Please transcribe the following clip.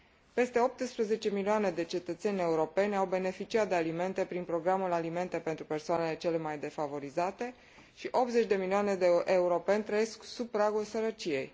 Peste 18 milioane de cetățeni europeni au beneficiat de alimente prin programul Alimente pentru persoanele cele mai defavorizate și 80 de milioane de europeni trăiesc sub pragul sărăciei.